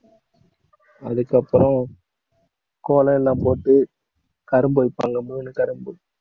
அதுக்கப்புறம் கோலம் எல்லாம் போட்டு கரும்பு வைப்பாங்க, மூணு கரும்பு